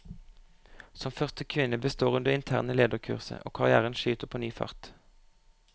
Som første kvinne består hun det interne lederkurset, og karrièren skyter på ny fart.